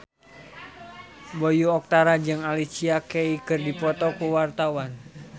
Bayu Octara jeung Alicia Keys keur dipoto ku wartawan